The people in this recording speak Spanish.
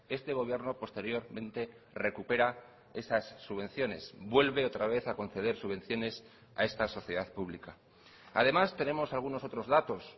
este gobierno posteriormente recupera esas subvenciones vuelve otra vez a conceder subvenciones a esta sociedad pública además tenemos algunos otros datos